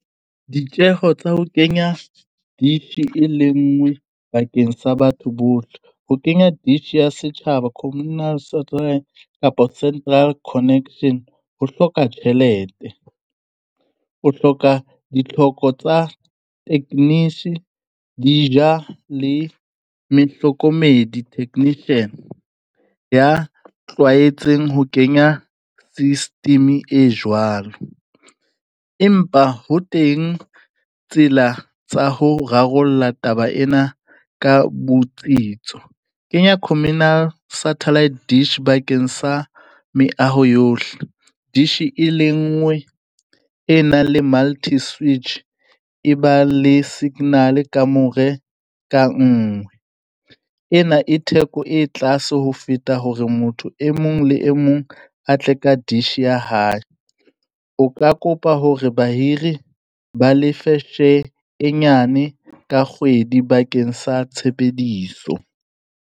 Ditjeho tsa ho kenya dish e lenngwe bakeng sa batho bohle. Ho kenya dish ya setjhaba communal software kapa central connection ho hloka tjhelete. O hloka ditlhoko tsa techniques di ja le mehlokomedi, technician ya tlwaetseng ho kenya system-e e jwalo. Empa ho teng tsela tsa ho rarolla taba ena ka botsitso. Kenya communal satellite dish bakeng sa meaho yohle. Dish e le nngwe e nang le multi switch e ba le signal kamore ka nngwe. Ena e theko e tlase ho feta hore motho e mong le e mong a tle ka dish ya hae. O ka kopa hore bahiri ba lefe share e nyane ka kgwedi bakeng sa tshebediso.